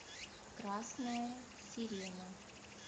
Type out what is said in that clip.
красная сирена